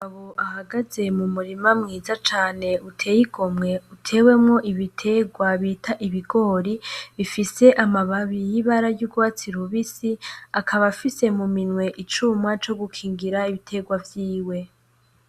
Umugabo ahagaze mumurima mwiza cane uteye igomwe utewemwo ibiterwa bita ibigori bifise amababi y'ibara ryurwatsi rubisi , akaba afise muminwe icuma co gukingira ibiterwa vyiwe .